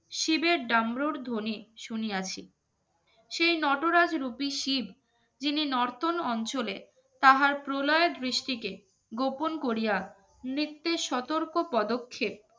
শিবের ডামরুর ধ্বনি শুনিয়াছি সেই নটরাজ রূপী শিব যিনি নর্তন অঞ্চলে তাহার প্রলয়ের দৃষ্টিকে গোপন করিয়া নৃত্যের সতর্ক পদক্ষেপ